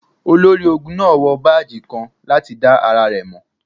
Olori-ogun naa wọ baaji kan lati da ara rẹ mọ.